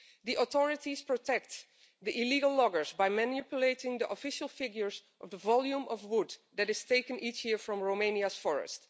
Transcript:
The authorities protect the illegal loggers by manipulating the official figures of the volume of wood that is taken each year from Romania's forest.